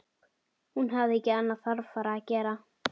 Hún hafði ekki annað þarfara að gera.